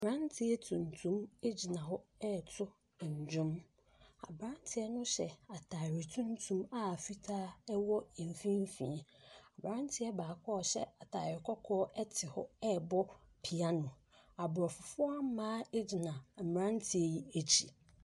Aberanteɛ tuntum egyina hɔ ɛɛto dwom, aberanteɛ no hyɛ ataare tuntum a fitaa ɛwɔ mfinfin. Aberanteɛ baako a ɔhyɛ ataare kɔkɔɔ ɛte hɔ ɛɛbɔ piano. Abrɔfofoɔ mmaa egyina mmeranteɛ yi akyi.